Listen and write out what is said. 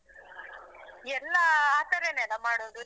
ಎಲ್ಲಾ ಆತರನೆನಾ ಮಾಡೋದು .